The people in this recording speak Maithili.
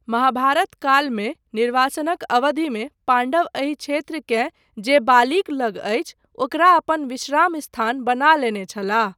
महाभारत कालमे, निर्वासनक अवधिमे पाण्डव एहि क्षेत्रकेँ जे बालीक लग अछि, ओकरा अपन विश्राम स्थान बना लेने छलाह।